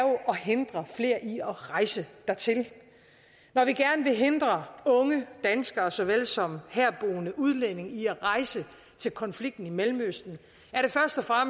at hindre flere i at rejse dertil når vi gerne vil hindre unge danskere såvel som herboende udlændinge i at rejse til konflikten i mellemøsten